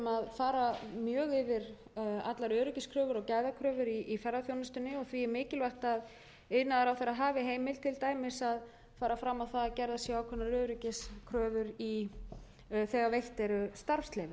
fara mjög yfir allar öryggiskröfur og gæðakröfur í ferðaþjónustunni og því er mikilvægt að iðnaðarráðherra hafi heimild til dæmis að fara fram á það að gerðar séu ákveðnar öryggiskröfur þegar veitt eru starfsleyfi